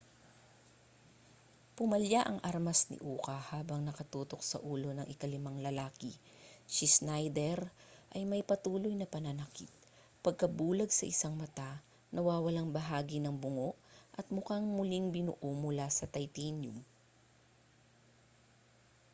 pumalya ang armas ni uka habang nakatutok sa ulo ng ikalimang lalaki si schneider ay may patuloy na pananakit pagkabulag sa isang mata nawawalang bahagi ng bungo at mukhang muling binuo mula sa titanium